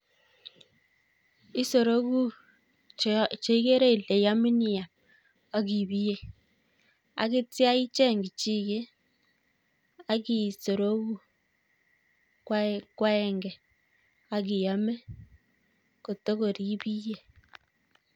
Isoroku cheigere ile yamin iam ak ibiye, ak yeityo icheny kichiket ak i soroku koagenge ak iame kitorokoi ibiye